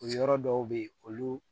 Yɔrɔ dɔw bɛ yen olu